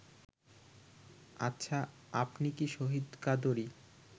আচ্ছা, আপনি কি শহীদ কাদরী